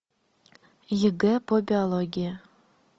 егэ по биологии